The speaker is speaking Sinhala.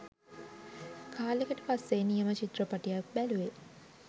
කාලෙකට පස්සේ නියම චිත්‍රපටියක් බැලුවේ.